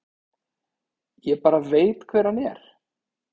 Ég bara veit hver hann er.